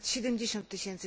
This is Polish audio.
ponad 70 tys.